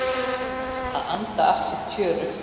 Anda að sér tjöru.